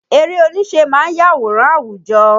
Eré oníṣe ma ń yàwòrán àwùjọ